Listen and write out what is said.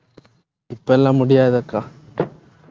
இப்ப எல்லாம் முடியாது அக்கா